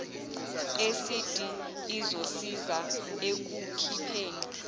esidi izosiza ekukhipheni